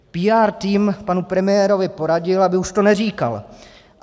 PR tým panu premiérovi poradil, aby už to neříkal.